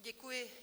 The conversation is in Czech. Děkuji.